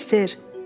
Xeyr, ser.